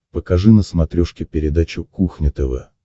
покажи на смотрешке передачу кухня тв